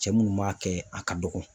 Cɛ munnu b'a kɛ, a ka dɔgɔ.